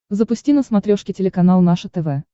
запусти на смотрешке телеканал наше тв